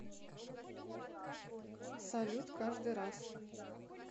салют каждый раз